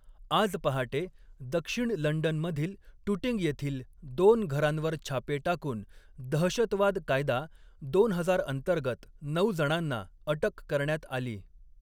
आज पहाटे, दक्षिण लंडनमधील टुटिंग येथील दोन घरांवर छापे टाकून दहशतवाद कायदा दोन हजार अंतर्गत नऊ जणांना अटक करण्यात आली.